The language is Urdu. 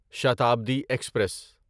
شتابدی ایکسپریس